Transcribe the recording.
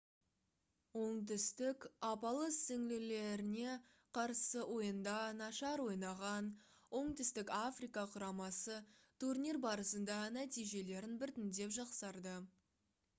оңтүстік апалы-сіңлілеріне қарсы ойында нашар ойнаған оңтүстік африка құрамасы турнир барысында нәтижелерін біртіндеп жақсартты